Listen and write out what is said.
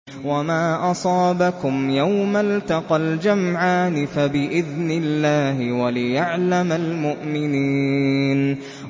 وَمَا أَصَابَكُمْ يَوْمَ الْتَقَى الْجَمْعَانِ فَبِإِذْنِ اللَّهِ وَلِيَعْلَمَ الْمُؤْمِنِينَ